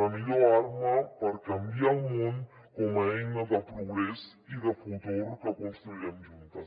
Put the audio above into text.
la millor arma per canviar el món com a eina de progrés i de futur que construirem juntes